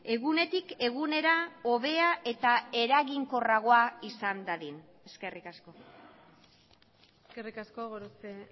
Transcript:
egunetik egunera hobea eta eraginkorragoa izan dadin eskerrik asko eskerrik asko gorospe